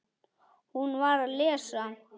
Hún var að lesa